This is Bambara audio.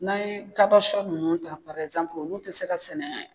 N'an ye kaba sɔ nunnu ta olu te se ka sɛnɛ